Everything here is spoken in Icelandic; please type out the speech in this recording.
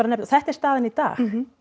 nefna og þetta er staðan í dag